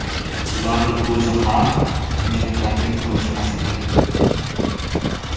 Ularning o‘zi ham meni taklif qilmasa kerak.